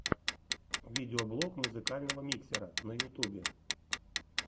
видеоблог музыкального миксера на ютубе